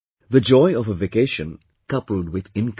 The joy of a vacation coupled with income